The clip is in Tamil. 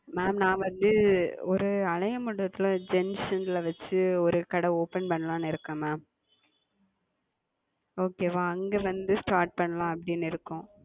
Ma'am நான் வந்து ஒரு மண்டபத்தில Gents ங்குல வச்சு ஒரு கடை Open பண்ணலாம்னு இருக்கே Ma'amOkay வா அங்கே வந்து Start பண்ணலான்னு இருக்கோம்